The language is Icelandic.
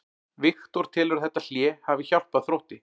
Viktor telur að þetta hlé hafi hjálpað Þrótti.